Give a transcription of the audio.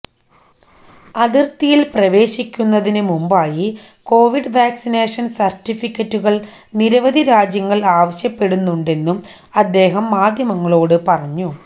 അതിര്ത്തിയില് പ്രവേശിക്കുന്നതിന് മുമ്പായി കൊവിഡ് വാക്സിനേഷന് സര്ട്ടിഫിക്കറ്റുകള് നിരവധി രാജ്യങ്ങള് ആവശ്യപ്പെടുന്നുണ്ടെന്നും അദ്ദേഹം മാധ്യമങ്ങളോട് പറഞ്ഞു